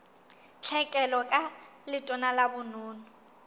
tlhekelo ka letona la bonono